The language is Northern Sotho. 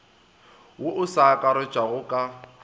wo o sa akaretšwago ka